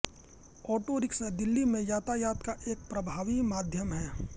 auto rickshaw Delhi में यातायात का एक प्रभावी माध्यम है